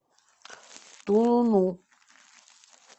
тулуну